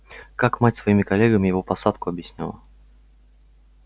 как мать своими коллегами его посадку объясняла